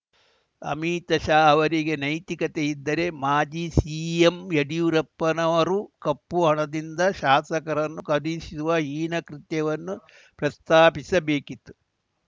ಆಮಿತ್‌ ಶಾ ಅವರಿಗೆ ನೈತಿಕತೆ ಇದ್ದರೇ ಮಾಜಿ ಸಿಎಂ ಯಡಿಯೂರಪ್ಪನವರು ಕಪ್ಪು ಹಣದಿಂದ ಶಾಸಕರನ್ನು ಖರೀದಿಸುವ ಹೀನಕೃತ್ಯವನ್ನು ಪ್ರಸ್ತಾಪಿಸಬೇಕಿತ್ತು